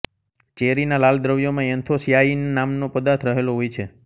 ચેરીના લાલ દ્રવ્યમાં એન્થોસ્યાનીન નામનો પદાર્થ રહેલો હોય છે